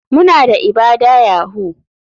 Muna da ibada yahoo.